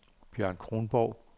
Bjørn Kronborg